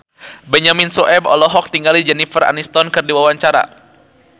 Benyamin Sueb olohok ningali Jennifer Aniston keur diwawancara